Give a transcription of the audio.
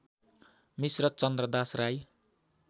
Mishra Chandradas Rai